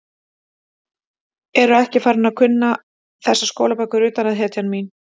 Ertu ekki farin að kunna þessar skólabækur utan að, hetjan mín?